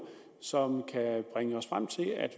som kan bringe os frem til at